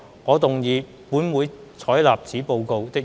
我動議"本會採納此報告"的議案。